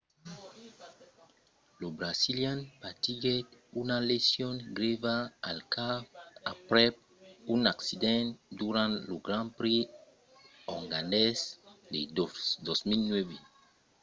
lo brasilian patiguèt una lesion grèva al cap aprèp un accident durant lo grand prix ongarés de 2009